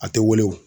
A tɛ weele wo